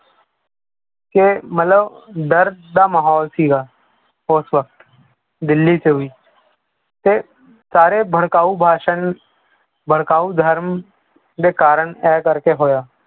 ਕਿ ਮਤਲਬ ਡਰ ਦਾ ਮਾਹੌਲ ਸੀਗਾ ਉਸ ਵਕਤ ਦਿੱਲੀ 'ਚ ਵੀ ਤੇ ਸਾਰੇ ਭੜਕਾਊ ਭਾਸ਼ਣ ਭੜਕਾਊ ਧਰਮ ਦੇ ਕਾਰਨ ਇਹ ਕਰਕੇ ਹੋਇਆ।